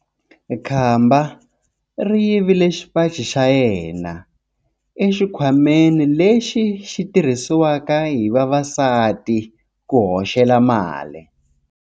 Khamba ri yivile xipaci xa yena exikhwameni lexi xi tirhisiwaka hi vavasati ku hoxela mali.